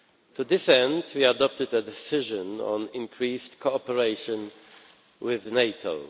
To that end, we have adopted a decision on increased cooperation with NATO.